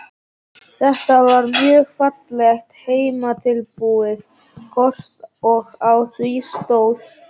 Þetta var mjög fallegt heimatilbúið kort og á því stóð